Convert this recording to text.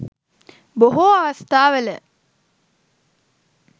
බොහෝ අවස්ථාවල